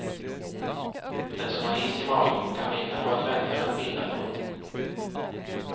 Den som har is i magen kan vinna på att vänta med att binda lån.